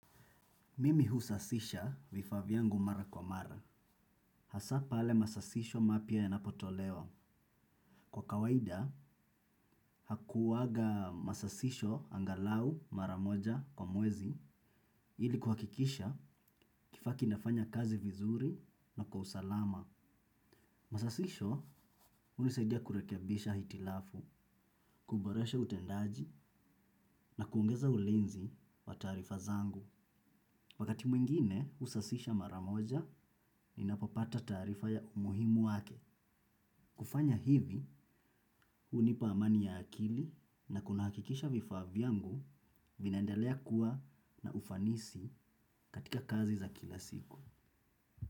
Mimi husasisha vifaa vyangu mara kwa mara. Hasa pale masasisho mapya yanapotolewa. Kwa kawaida, hakuwaga masasisho angalau mara moja kwa mwezi, ili kuhakikisha kifaa kinafanya kazi vizuri na kwa usalama. Masasisho, hunisaidia kurekebisha hitilafu, kuboresha utendaji na kuongeza ulinzi wa taarifa zangu. Wakati mwingine husasisha mara moja, ninapopata taarifa ya umuhimu wake. Kufanya hivi, hunipa amani ya akili na kunahakikisha vifaa vyangu vinaendelea kuwa na ufanisi katika kazi za kila siku.